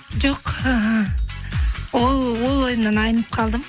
жоқ ыыы ол ойымнан айнып қалдым